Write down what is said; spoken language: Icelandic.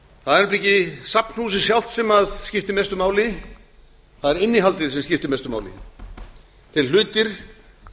það er nefnilega ekki safnhúsið sjálft sem skiptir mestu máli það er innihaldið sem skiptir mestu máli þeir hlutir